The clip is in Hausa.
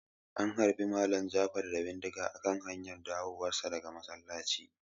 An harbe Malam Jafar da bindiga a kan hanyar dawowar sa daga masallaci